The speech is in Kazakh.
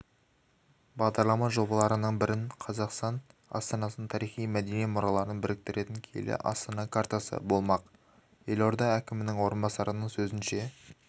бағдарлама жобаларының бірі қазақстан астанасының тарихи-мәдени мұраларын біріктіретін киелі астана картасы болмақ елорда әкімінің орынбасарының сөзінше